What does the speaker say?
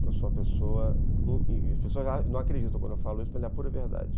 Eu sou uma pessoa... As pessoas não acreditam quando eu falo isso, mas é a pura verdade.